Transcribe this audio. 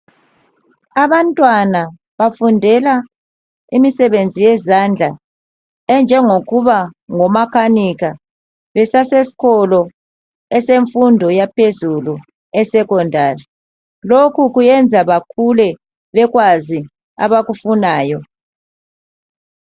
Abantwana bafundela imsebenzi yezandla enjengokuba ngumakanika besasesikolo eyefundo yaphezulu eSecondary lokhu kuyenza bakhule bekwaz abakufunayo